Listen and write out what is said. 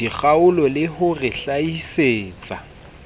dikgaolo le ho re hlahisetsa